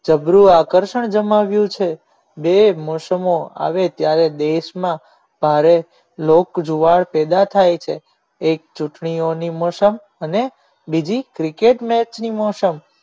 જબરુ આકર્ષણ જમાવ્યું છે બે મોસમો આવે ત્યારે દેશમાં ભારે લોક જુવાર પેદા થાય છે એક ચૂંટણીઓની મોસમ અને બીજી cricket match ની મોસમ